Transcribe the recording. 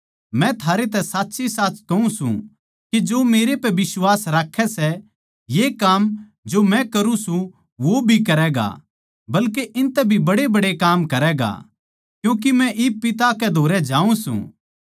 मै थारैतै साच्चीसाच कहूँ सूं के जो मेरै पै बिश्वास राक्खै सै ये काम जो मै करूँ सूं वो भी करैगा बल्के इनतै भी बड्डेबड्डे काम करैगा क्यूँके मै इब पिता कै धोरै जाऊँ सूं